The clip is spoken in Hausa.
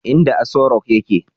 inda Asorock yake